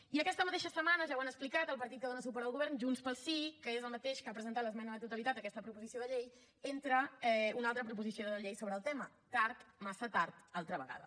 i aquesta mateixa setmana ja ho han explicat el partit que dona suport al govern junts pel sí que és el mateix que ha presentat l’esmena a la totalitat a aquesta proposició de llei entra una altra proposició de llei sobre el tema tard massa tard altra vegada